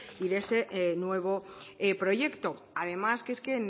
y de ese nuevo proyecto además que es que